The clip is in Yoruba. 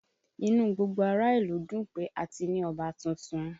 Inú gbogbo ará ìlú ń dùn pé a ti ní Ọba tuntun